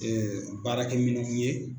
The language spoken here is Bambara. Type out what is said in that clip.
baarakɛ minɛnw ye.